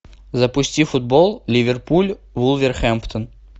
запусти футбол ливерпуль вулверхэмптон